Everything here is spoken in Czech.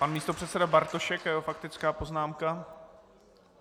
Pan místopředseda Bartošek a jeho faktická poznámka.